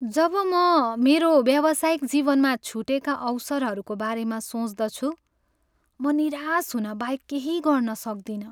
जब म मेरो व्यावसायिक जीवनमा छुटेका अवसरहरूको बारेमा सोच्दछु म निराश हुनबाहक केही गर्न सक्दिनँ।